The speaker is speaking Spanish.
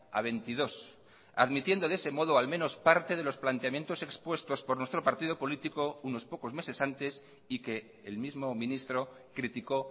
a veintidós admitiendo de ese modo al menos parte de los planteamientos expuestos por nuestro partido político unos pocos meses antes y que el mismo ministro criticó